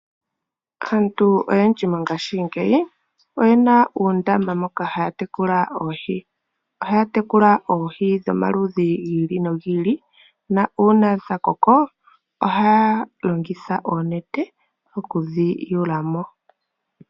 Aantu oyendji mongaashingeyi oye na uundama moka haya tekula oohi. Ohaya tekula oohi dhomaludhi gi ili nogi ili nuuna dha koko ohaya longitha oonete okudhiyula mo.